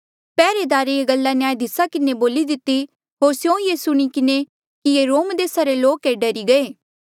पैहरेदारे ये गल्ला न्यायधीसा किन्हें बोली दिती होर स्यों ये सुणी किन्हें कि ये रोम देसा रे लोक ऐें डरी गये